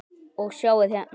Og sjáið hérna!